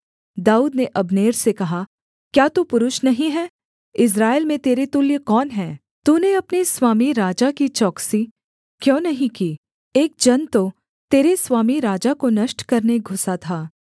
दाऊद ने अब्नेर से कहा क्या तू पुरुष नहीं है इस्राएल में तेरे तुल्य कौन है तूने अपने स्वामी राजा की चौकसी क्यों नहीं की एक जन तो तेरे स्वामी राजा को नष्ट करने घुसा था